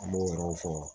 An b'o yɔrɔw fɔ